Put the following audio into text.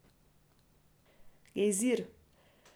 Gejzir!